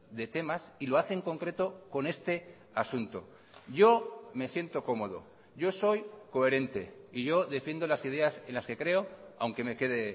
de temas y lo hace en concreto con este asunto yo me siento cómodo yo soy coherente y yo defiendo las ideas en las que creo aunque me quede